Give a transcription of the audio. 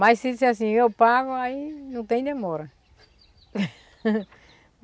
Mas se disser assim, eu pago, aí não tem demora.